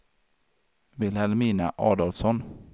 Vilhelmina Adolfsson